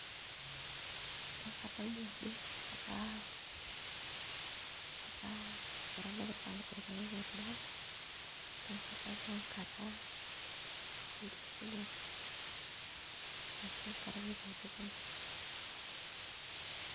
Adamu ajo etaa enap irpaek endaa neeku etaa ebau enkata enkesunoto ashu enkata naitauni tolchamba.